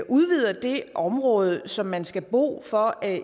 udvider det område som man skal bo i for at